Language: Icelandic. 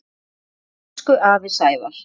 Elsku afi Sævar.